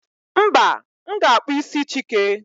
mba, m ga-akpụ isi chike